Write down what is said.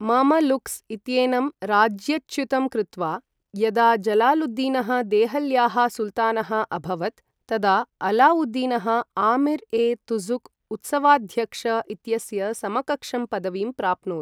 Mamluks इत्येनं राज्यच्युतं कृत्वा यदा जलालुद्दीनः देहल्याः सुल्तानः अभवत्, तदा अलाउद्दीनः आमीर् ए तुज़ुक् उत्सवाध्यक्ष इत्यस्य समकक्षं पदवीं प्राप्नोत्।